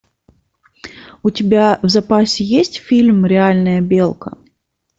у тебя в запасе есть фильм реальная белка